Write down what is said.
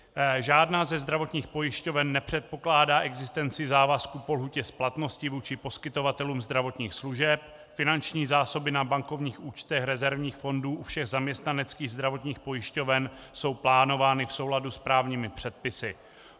Žádná ze zdravotních pojišťoven nepředpokládá existenci závazků po lhůtě splatnosti vůči poskytovatelům zdravotních služeb, finanční zásoby na bankovních účtech rezervních fondů u všech zaměstnaneckých zdravotních pojišťoven jsou plánovány v souladu s právními předpisy.